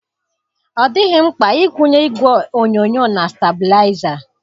Ọ dịghị mkpa ịkwunye igwe onyonyo na stablaịza.